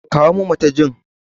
Kawo min matajin!